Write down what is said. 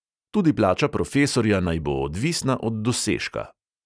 Tudi plača profesorja naj bo odvisna od dosežka.